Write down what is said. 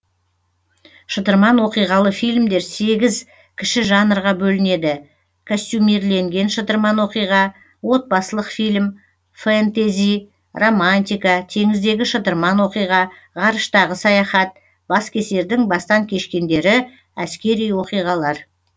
шытырман оқиғалы фильмдер сегіз кіші жанрға бөлінеді костюмирленген шытырман оқиға отбасылық фильм фэнтези романтика теңіздегі шытырман оқиға ғарыштағы саяхат баскесердің бастан кешкендері әскери оқиғалар